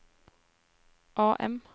AM